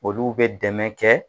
Olu bɛ dɛmɛ kɛ.